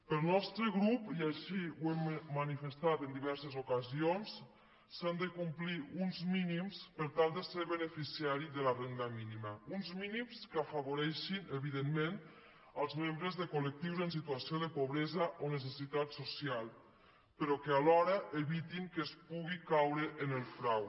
pel nostre grup i així ho hem manifestat en diverses ocasions s’han de complir uns mínims per tal de ser beneficiari de la renda mínima uns mínims que afavoreixin evidentment els membres de colrò que alhora evitin que es puguin caure en el frau